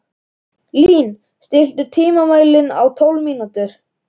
Lín, stilltu tímamælinn á tólf mínútur.